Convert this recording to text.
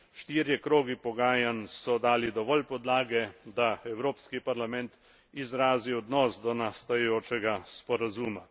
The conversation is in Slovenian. Štirje krogi pogajanj so dali dovolj podlage, da Evropski parlament izrazi odnos do nastajajočega sporazuma.